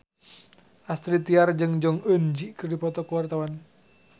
Astrid Tiar jeung Jong Eun Ji keur dipoto ku wartawan